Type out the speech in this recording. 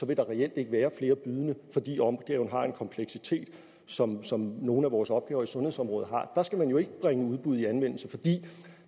vil der reelt ikke være flere bydende fordi opgaven har en kompleksitet som som nogle af vores opgaver i sundhedsområdet har der skal man jo ikke bringe udbud i anvendelse fordi det